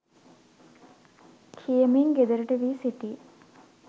කියමින් ගෙදරට වී සිටී.